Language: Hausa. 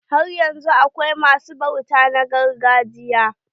Haryanzun akwai ma su bauta na gargajiya?